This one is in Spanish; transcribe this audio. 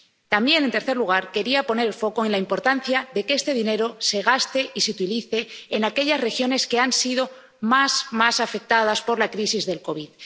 También, en tercer lugar, quería poner el foco en la importancia de que este dinero se gaste y se utilice en aquellas regiones que han sido más afectadas por la crisis del COVID.